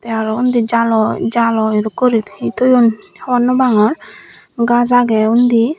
araw undi jalo jalo dokkey guri hi toyon hobor naw pangor gaz agey undi.